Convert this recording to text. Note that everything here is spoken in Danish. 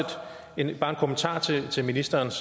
bare en kommentar til til ministerens